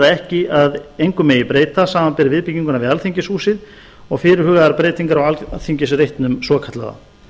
ekki að engu megi breyta samanber viðbygginguna við alþingishúsið og fyrirhugaðar breytingar á alþingisreitnum svokallaða